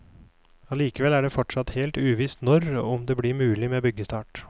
Allikevel er det fortsatt helt uvisst når og om det blir mulig med byggestart.